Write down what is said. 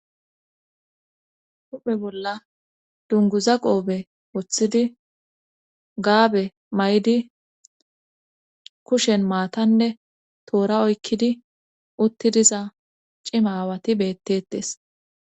Huphe bolla dunguza qoobe woththidi gaabe may7di kushen maatanne toora oykkidi uttidiza cimawati bettetes